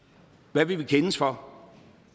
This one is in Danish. hvad vil vi kendes for